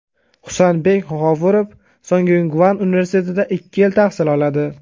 Husanbek G‘ofurov Songyungvan universitetida ikki yil tahsil oladi.